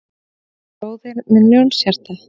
Bróðir minn Ljónshjarta